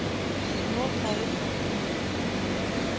Nå tar hun fatt på ny.